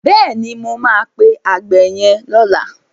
Bẹ́ẹ̀ni, mo máa pe àgbẹ̀ yẹn lọ́la.